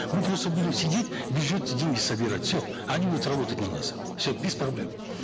мы просто будем сидеть в бюджет деньги собирать все они будут работать на нас все без проблем